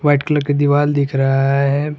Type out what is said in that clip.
White colour की दीवाल दिख रहा है।